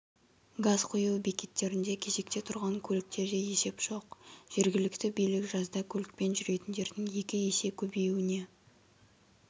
газ құю бекеттерінде кезекте тұрған көліктерде есеп жоқ жергілікті билік жазда көлікпен жүретіндердің екі есе көбеюіне